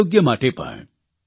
અને આરોગ્ય માટે પણ